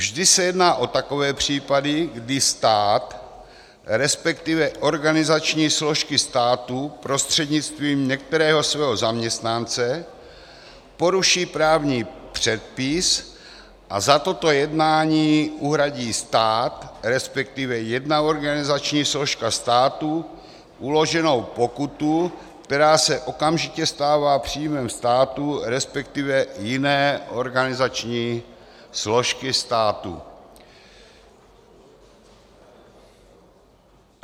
Vždy se jedná o takové případy, kdy stát, respektive organizační složky státu, prostřednictvím některého svého zaměstnance poruší právní předpis a za toto jednání uhradí stát, respektive jedna organizační složka státu, uloženou pokutu, která se okamžitě stává příjmem státu, respektive jiné organizační složky státu.